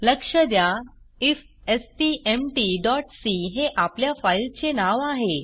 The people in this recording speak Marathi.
लक्ष द्या ifstmtसी हे आपल्या फाईलचे नाव आहे